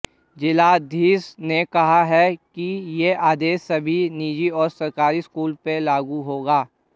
जिलाधीश ने कहा है कि यह आदेश सभी निजी और सरकारी स्कूलों पर लागू होगा